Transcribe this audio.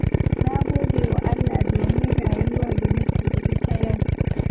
Na gode wa Allah domin rayuwar da nake da ita yau.